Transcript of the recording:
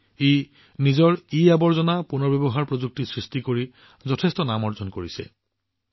ই ইয়াৰ নিজা e waste recycling প্ৰযুক্তি প্ৰস্তুত কৰি বহুতো পুৰস্কাৰ অৰ্জন কৰিছে